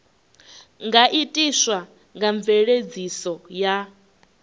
nga itiswa nga mveledziso ya